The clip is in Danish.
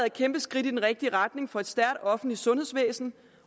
et kæmpe skridt i den rigtige retning for et stærkt offentligt sundhedsvæsen